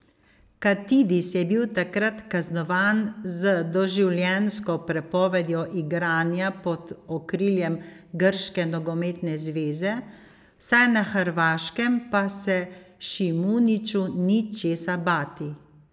Katidis je bil takrat kaznovan z doživljenjsko prepovedjo igranja pod okriljem Grške nogometne zveze, vsaj na Hrvaškem pa se Šimuniću ni česa bati.